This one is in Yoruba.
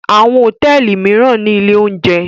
Àwọn hòtẹ́ẹ́lì mìíràn ní ilé-oúnjẹ.